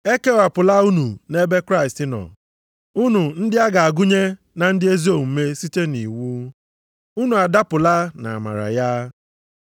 E kewapụla unu nʼebe Kraịst nọ, unu ndị a ga-agụnye na ndị ezi omume site nʼiwu. Unu adapụla nʼamara ya.